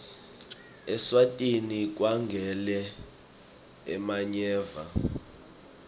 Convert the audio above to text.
eswatini kagwele emanyeva